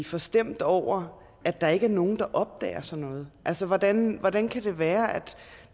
forstemt over at der ikke er nogen der opdager sådan noget altså hvordan hvordan kan det være at